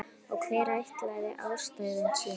Og hver ætli ástæðan sé?